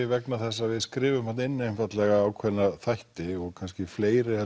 vegna þess að við skrifum þarna inn ákveðna þætti og fleiri